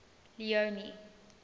leone